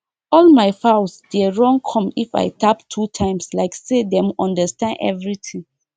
all my fowls dey run come if i tap two times like say dem understand everything